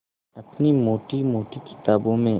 अपनी मोटी मोटी किताबों में